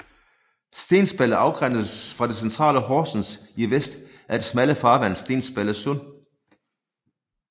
Stensballe afgrænses fra det centrale Horsens i vest af det smalle farvand Stensballe Sund